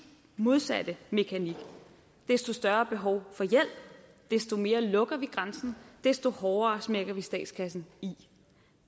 modsatte mekanik desto større behov for hjælp desto mere lukker vi grænsen desto hårdere smækker vi statskassen i